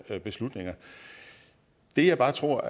beslutninger det jeg bare tror